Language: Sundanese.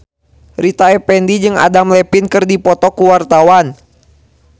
Rita Effendy jeung Adam Levine keur dipoto ku wartawan